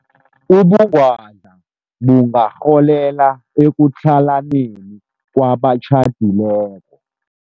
Ubungwadla bungarholela ekutlhalaneni kwabatjhadileko.